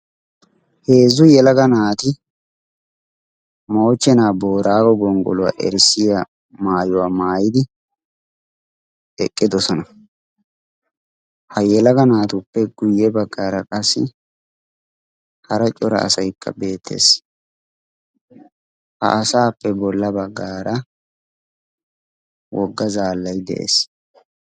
heezzu yelaga naati moochchenaa booraago gonggoluwaa erissiya maayuwaa maayidi eqqidosona. ha yelaga naatuppe guyye baggaara qassi hara cora asaikka beettees. ha asaappe bolla baggaara wogga zaallayi de7ees.